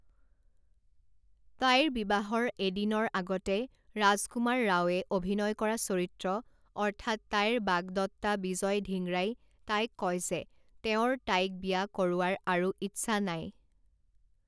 তাইৰ বিবাহৰ এদিনৰ আগতে ৰাজকুমাৰ ৰাওয়ে অভিনয় কৰা চৰিত্ৰ অৰ্থাৎ তাইৰ বাগদত্তা বিজয় ধিংৰাই তাইক কয় যে তেওঁৰ তাইক বিয়া কৰোৱাৰ আৰু ইচ্ছা নাই।